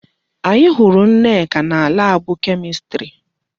Anyị hụrụ Nneka na laabụ Kemistri.